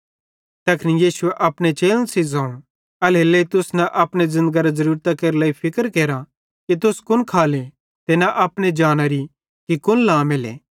तैखन यीशुए अपने चेलन सेइं ज़ोवं एल्हेरेलेइ तुस न अपने ज़िन्दगरी ज़रूरतेरे लेइ फिक्र केरा कि तुस कुन खाले ते न अपने जानारी कि कुन लामेले